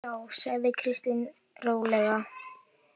Já, sagði Kristín rólega.